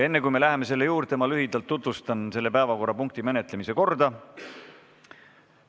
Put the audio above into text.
Enne, kui me selle juurde läheme, tutvustan lühidalt selle päevakorrapunkti menetlemise korda.